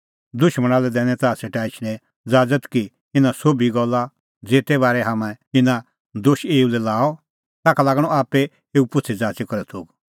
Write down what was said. दुशमणा लै दैनी ताह सेटा एछणें ज़ाज़त की इना सोभी गल्ला ज़ेते बारै हाम्हैं इना दोशा एऊ दी लाआ ताखा लागणअ आप्पै एऊ पुछ़ीज़ाच़ी करै थोघ